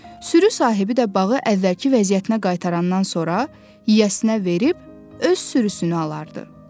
Sürü sahibi də bağı əvvəlki vəziyyətinə qaytarandan sonra yiyəsinə verib, öz sürüsünü alardı.